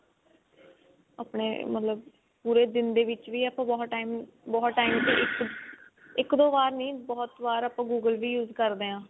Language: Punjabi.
ਆਪਣੇ ਮਤਲਬ ਪੂਰੇ ਦਿਨ ਦੇ ਵਿੱਚ ਬਹੁਤ time ਬਹੁਤ time ਦੇ ਵਿੱਚ ਇੱਕ ਦੋ ਵਾਰ ਨੀ ਬਹੁਤ ਬਾਰ ਆਪਾਂ google ਵੀ use ਕਰਦੇ ਹਾਂ